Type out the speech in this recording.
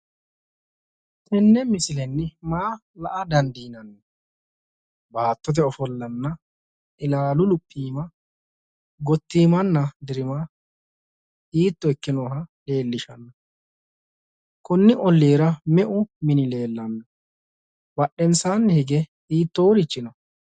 Tenne misilenni maa la"a daandiinanni? Baattote ofollanna ilaalu luphiima gotiimmana dirima hiitto ikkinoha leellishanno? Konni ollira me"u mini leellanno? Badheensanni hige hiittoorichi no?